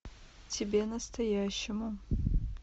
тебе настоящему